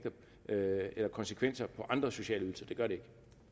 konsekvenser for andre sociale ydelser det gør det